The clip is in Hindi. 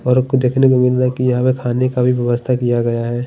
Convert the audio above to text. और हमको देखने को मिल रहा है की यहाँ पर खाने का भी व्यवस्ता किया गया है।